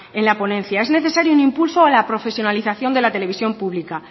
en la ponencia es necesario un impulso a la profesionalización de la televisión pública